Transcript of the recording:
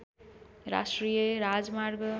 राष्ट्रिय राजमार्ग